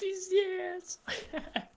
пиздец ха-ха